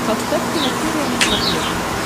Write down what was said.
поставь киносерия на смотрешке